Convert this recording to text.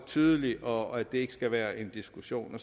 tydeligt og det skal ikke være en diskussion